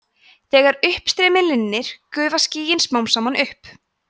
þegar uppstreymi linnir gufa skýin smám saman upp